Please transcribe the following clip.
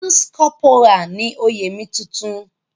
Lance corporal ni oyè mi tuntun.